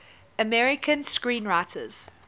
american screenwriters